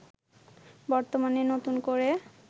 বর্তমানে নতুন করে